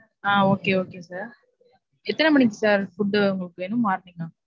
ஆஹ் okay okay sir எத்தன மணிக்கு sir food உங்களுக்கு வேணும்? morning ஆ?